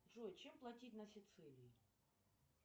джой чем платить на сицилии